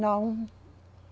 Não.